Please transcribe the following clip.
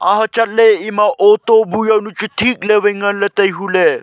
ha chatley ema auto bu jaw nu thik le wai chu ngan ley tailey.